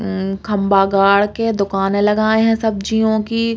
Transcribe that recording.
उम खम्बा गाड़ के दुकाने लगाए हैं सब्जियों की।